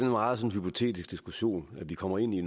meget hypotetisk diskussion vi kommer ind i